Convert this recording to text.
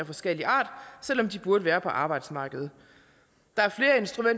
forskellig art selv om de burde være på arbejdsmarkedet